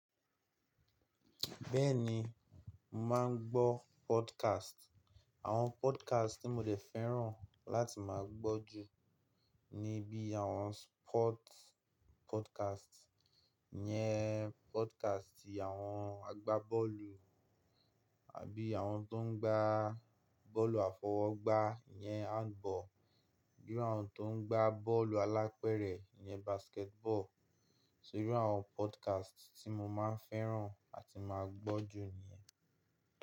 Bẹ́ẹ̀ni, màá ń gbọ́ podcast. Àwọn podcast tí mo dè fẹ́ràn láti máa gbọ́ jù ni bí àwọn sport podcast, iyẹn podcast ìyẹn àwọn agbábọ́ọ̀lù àbí àwọn tó ń gbá bọ́ọ̀lù àfọwọ́gbá iyẹn handball, bí i àwọn tó ń gbá bọ́ọ̀lù alápẹ̀rẹ̀ iyẹn basketball. Só iru àwọn podcast tí mo máa ń fẹ́ràn àti máa ń gbọ́ jù nìyẹn.